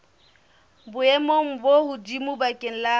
boemong bo hodimo bakeng la